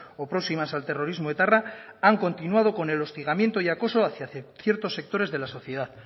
o próximas al terrorismo etarra han continuado con el hostigamiento y acoso hacia ciertos sectores de la sociedad